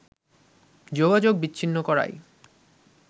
যোগাযোগ বিছিন্ন করাই